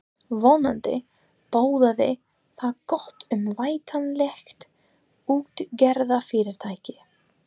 Vonandi boðaði það gott um væntanlegt útgerðarfyrirtæki.